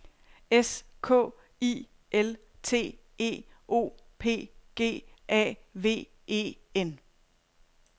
S K I L T E O P G A V E N